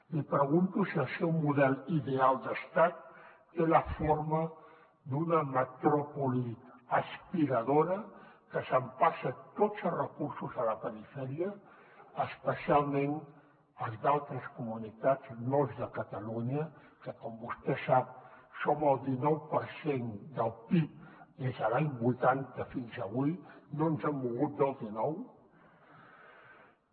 li pregunto si el seu model ideal d’estat té la forma d’una metròpoli aspiradora que s’empassa tots els recursos de la perifèria especialment els d’altres comunitats no els de catalunya que com vostè sap som el dinou per cent del pib des de l’any vuitanta fins avui no ens hem mogut del dinou